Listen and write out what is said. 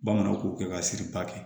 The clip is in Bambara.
Bamananw ko kɛ ka siri ba kɛ